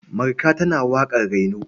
Marka tana waƙar raino.